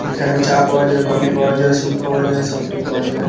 এখানে চা পাওয়া যায় কফি পাওয়া যায় স্যুপ পাওয়া যায় সফ্ট টি পাওয়া যায়।